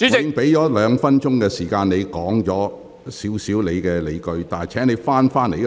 我已給你兩分鐘時間闡述你的理據，請你返回辯論議題。